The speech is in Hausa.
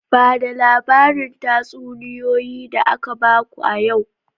Ba da labarin tatsuniyoyi da aka baku a yau!